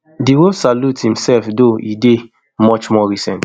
di wolf salute imsef though e dey much more recent